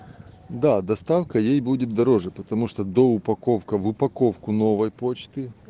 да доставка ей будет дороже потому что до упаковка в упаковку новой почты